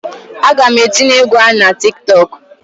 Aga m etinye egwu a na Tik tọk.